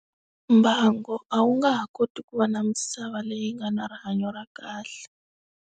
Mbango a wu nga ha koti ku va na misava leyi nga na rihanyo ra kahle.